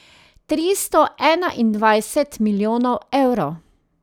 Tristo enaindvajset milijonov evrov.